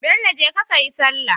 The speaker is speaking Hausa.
Bello jeka kayi sallah